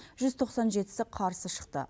жүз тоқсан жетісі қарсы шықты